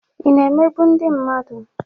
Ị na-emegbu ndị mmadụ?